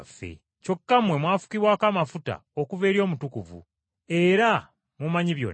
Kyokka mmwe mwafukibwako amafuta okuva eri Omutukuvu, era mumanyi byonna.